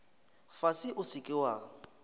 fase o se ke wa